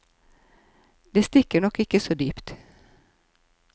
Det stikker nok ikke så dypt.